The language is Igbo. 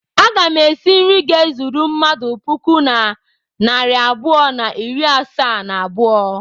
Aga m esi nri ga-ezuru mmadụ puku na narị abụọ na iri asaa na abụọ.